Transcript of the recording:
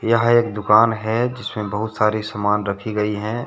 यहां एक दुकान है जिसमें बहुत सारी सामान रखी गई हैं।